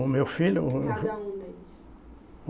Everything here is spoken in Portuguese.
O meu filho? O o. Cada um deles.